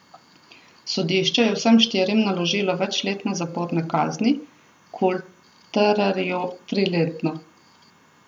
Sodišče je vsem štirim naložilo večletne zaporne kazni, Kultererju triletno.